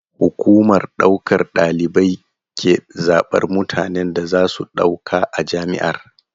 Hukumar ɗaukar ɗalibai ke zaɓar mutanen da za su ɗauka a jami'ar.